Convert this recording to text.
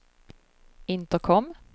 intercom